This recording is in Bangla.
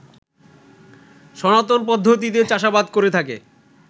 সনাতন পদ্ধতিতে চাষাবাদ করে থাকে